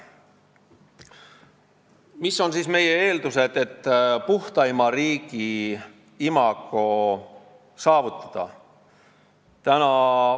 Mis on meie eeldused, et puhtaima riigi imago saavutada?